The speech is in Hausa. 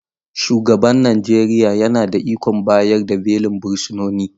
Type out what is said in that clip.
Shugaban Najeriya yana da ikon bayar da belin fursunoni